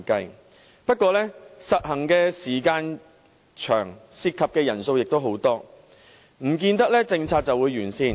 實行外判制度的時間長，涉及人數龐大，但不見得政策完善。